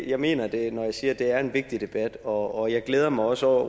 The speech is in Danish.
jeg mener det når jeg siger at det er en vigtig debat og jeg glæder mig også over